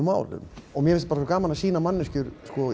málum mér fannst gaman að sýna manneskjur